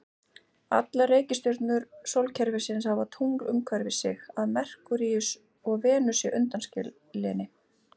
Allar reikistjörnur sólkerfisins hafa tungl umhverfis sig, að Merkúríusi og Venusi undanskilinni.